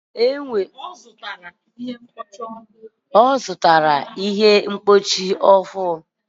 ọ zụtara mkpọchi ọhụrụ